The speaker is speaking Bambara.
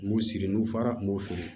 N b'u siri n'u fara n b'u fili